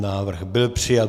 Návrh byl přijat.